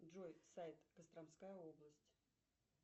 джой сайт костромская область